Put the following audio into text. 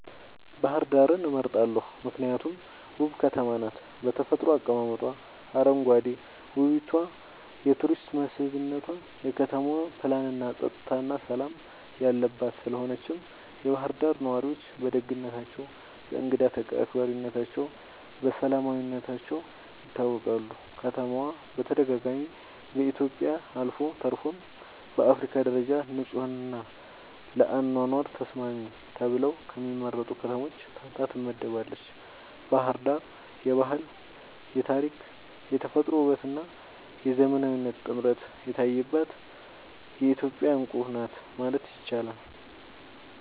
ባህር ዳርን እመርጣለሁ ምክንያቱም ውብ ከተማ ናት በተፈጥሮ አቀማመጧ, አረንጓዴ ዉበቷ የቱሪስት መስብነቷ, የከተማዋ ፕላንናፀጥታና ሠላም የለባት ስለሆነችም የባህር ዳር ነዋሪዎች በደግነታቸው፣ በእንግዳ አክባሪነታቸውና በሰላማዊነታቸው ይታወቃሉ። ከተማዋ በተደጋጋሚ በኢትዮጵያ አልፎ ተርፎም በአፍሪካ ደረጃ ንጹሕና ለአኗኗር ተስማሚ ተብለው ከሚመረጡ ከተሞች ተርታ ትመደባለች። ባሕር ዳር የባህል፣ የታሪክ፣ የተፈጥሮ ውበትና የዘመናዊነት ጥምረት የታየባት የኢትዮጵያ ዕንቁ ናት ማለት ይቻላል።